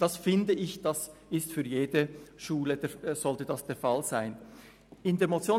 Ich denke, dass dies für jede Schule der Fall sein sollte.